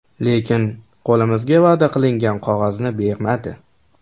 Lekin qo‘limizga va’da qilingan qog‘ozni bermadi.